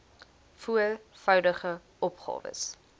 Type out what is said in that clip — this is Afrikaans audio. voor voudigde opgawes